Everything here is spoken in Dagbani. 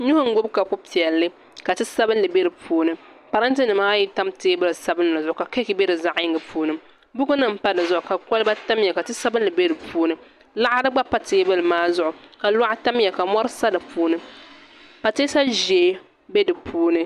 Nuu n gbubi kapu piɛlli ka ti sabinli bɛ di puuni parantɛ nimaayi n tam kapu sabinli zuɣu ka keek bɛ di zaɣ yinga puuni buku nim pa di zuɣu ka kolba tamya ka ti sabinli bɛ di puuni laɣari gba pa teebuli maa zuɣu ka loɣu tamya ka mori sa di puuni pateesa ʒiɛ bɛ di puuni